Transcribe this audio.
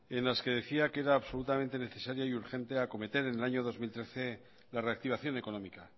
en las que decía que era absolutamente necesario y urgente acometer en el año dos mil trece la reactivación económica